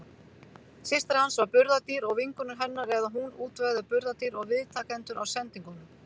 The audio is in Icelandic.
Systir hans var burðardýr, og vinkonur hennar, eða hún útvegaði burðardýr og viðtakendur á sendingunum.